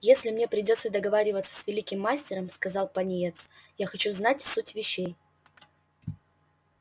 если мне придётся договариваться с великим мастером сказал пониетс я хочу знать суть вещей